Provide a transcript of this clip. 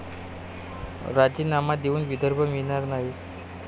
राजीनामा देऊन विदर्भ मिळणार नाही'